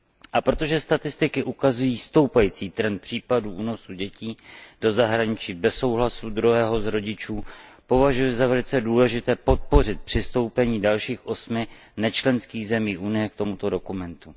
A protože statistiky ukazují stoupající trend případů únosů dětí do zahraničí bez souhlasu druhého z rodičů, považuji za velice důležité podpořit přistoupení dalších osmi nečlenských zemí Unie k tomuto dokumentu.